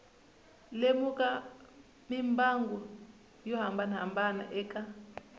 lemuka mimbangu yo hambanahambana eka